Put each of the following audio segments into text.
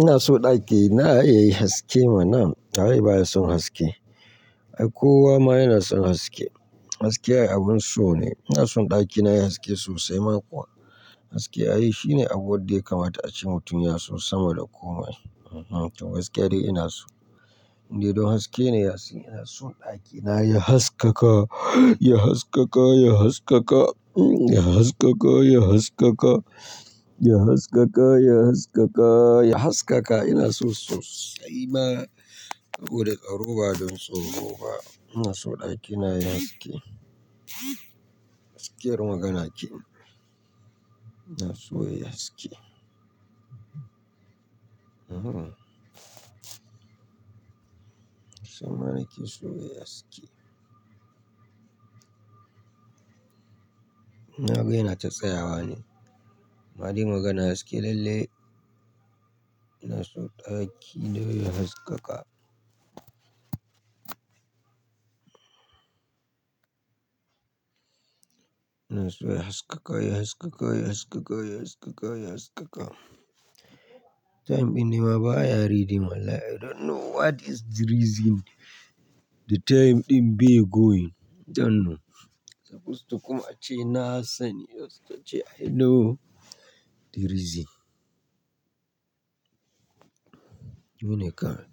Ina so ɗaki na ya yi haske mana waye baya son haske. Ai, kowa ma yana son haske. Haske abun so ne, ina son ɗakina ya yi haske sosai ma kuwa, Haske ai shine abu wadda ya kamata a ce mutum ya so sama da komai. Ehh, to gaskiya dai ina so. Ni dai don haske ne ya sin ina son ɗakina ya haskaka, ya haskaka, ya haskaka, ya haskaka, ya haskaka, ya haskaka, ya haskaka, ya haskaka. Ina so sosai ma sabo da tsaroba don tsoro ba, ina so ɗakina ya yi haske. Gaskiyar magana ce. Ina so yayi haske. Suma nake so nai aski na ga yana ta tsayawa wane amma dai magana haske lalle. Ina so ɗaki na ya haskaka. Ina so ya haskaka, ya haskaka, ya haskaka, ya haskaka, Time ɗin ne ma baya reading wallahi. I don't know what is the reason. The time ɗin be going. I don't know. Supposed to kuma ace na sani. Supposed to ce I know the reason. Ni ne kai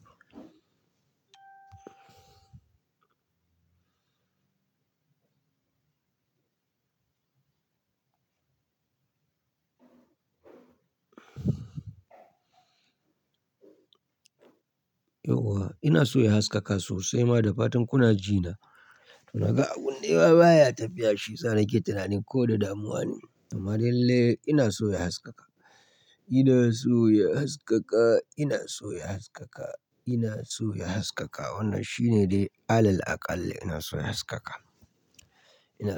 Yauwa ina so ya haskaka sosai ma da fatan kuna ji na. Na ga abun ne ma baya tafiya shi. Shiyasa na ke tunani ko da damuwa ne. Amma lalle ina so ya haskaka. Ina so ya haskaka. Ina so ya haskaka. Ina so ya haskaka. Wannan shi ne dai alal akalli ina so ya haskaka. Ina so.